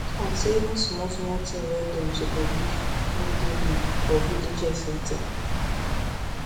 i say even small small thing wey dem suppose give no dey um for village health center